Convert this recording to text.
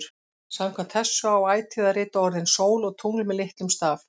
Samkvæmt þessu á ætíð að rita orðin sól og tungl með litlum staf.